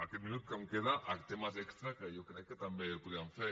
aquest minut que em queda a temes extres que jo crec que també podríem fer